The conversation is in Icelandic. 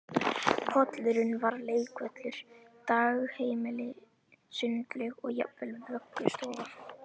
Pollurinn var leikvöllur, dagheimili, sundlaug og jafnvel vöggustofa